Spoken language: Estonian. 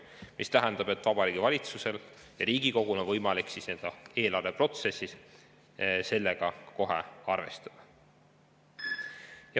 See tähendab, et Vabariigi Valitsusel ja Riigikogul on võimalik eelarveprotsessis sellega kohe arvestada.